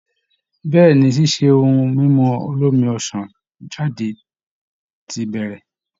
Bẹ́ẹ̀ ni, ṣíṣe ohun mímu olómi ọsàn jáde ti bẹ̀rẹ̀